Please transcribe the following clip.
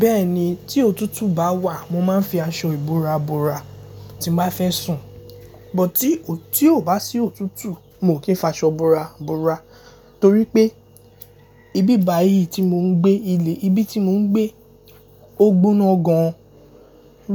Bẹ́ẹ̀ni, tí òtútù bá wà mo máa ń fi aṣọ ìbora bora tí mo bá fẹ́ sùn, but tí a ò bá sí òtútù mo kì í fa aṣọ ìbora bora torí pé ibi báyìí tí mò ń gbé ilé, ibi tí mò ń gbé ogbónó gan an